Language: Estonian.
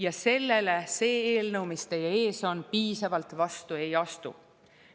Ja sellele see eelnõu, mis teie ees on, piisavalt vastu ei astu.